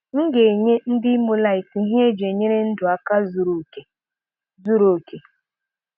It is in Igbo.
M ga-enye ndị Imolite ihe eji enyere ndụ aka zuru oke. zuru oke.